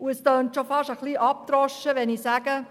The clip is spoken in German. Es tönt schon fast ein wenig abgedroschen, wenn ich sage: